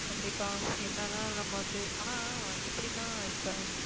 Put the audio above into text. கண்டிப்பா. எவ்வளவு தான் நம்ம வந்து ஆனா, எப்படின்னா இப்போ